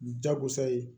Jagosa ye